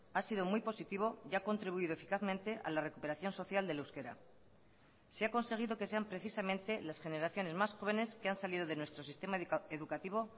ha sido muy positivo y ha contribuido eficazmente a la recuperación social del euskera se ha conseguido que sean precisamente las generaciones más jóvenes que han salido de nuestro sistema educativo